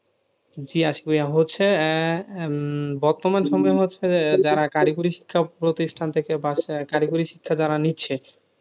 জি আশিক ভাইয়া হচ্ছে, আহ বর্তমান সমযে হচ্ছে যারা কারিগরি শিক্ষা প্রতিষ্ঠান থেকে বা কারিগরি শিক্ষা যারা নিচ্ছে,